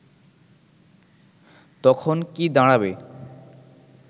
তখন কি দাঁড়াবে